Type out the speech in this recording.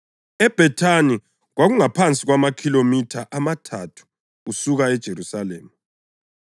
EBhethani kwakungaphansi kwamakhilomitha amathathu usuka eJerusalema,